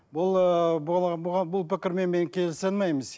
бұл ыыы бұл пікірмен мен келісе алмаймыз